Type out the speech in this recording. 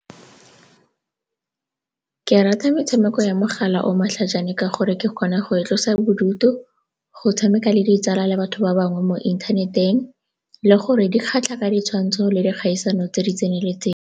Ke rata metshameko ya mogala o o matlhajana ka gore ke kgona go itlosa bodutu, go tshameka le ditsala le batho ba bangwe mo inthaneteng le gore di kgatlha ka ditshwantsho le dikgaisano tse di tseneletseng.